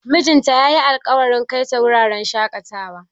Mijinta ya yi alkawarin kai ta wuraren shaƙatawa.